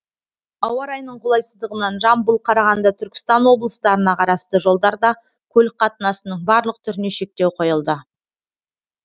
ауа райының қолайсыздығынан жамбыл қарағанды түркістан облыстарына қарасты жолдарда көлік қатынасының барлық түріне шектеу қойылды